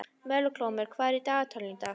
Melkólmur, hvað er í dagatalinu í dag?